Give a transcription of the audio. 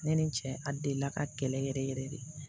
Ne ni n cɛ a delila ka kɛlɛ yɛrɛ yɛrɛ de